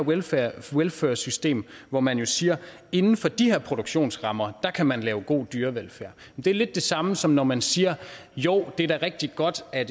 welfur system hvor man siger inden for de her produktionsrammer kan man lave god dyrevelfærd det er lidt det samme som når man siger jo det er da rigtig godt at